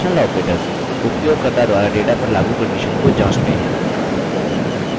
conditional operators उपयोगकर्ता द्वारा data पर लागू condition को जाँचते हैं